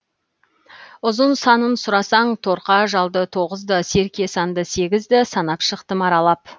ұзын санын сұрасаң торқа жалды тоғыз ды серке санды сегіз ді санап шықтым аралап